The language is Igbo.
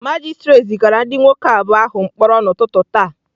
Magistrate zigara ndị nwoke abụọ ahụ mkpọrọ n'ụtụtụ taa.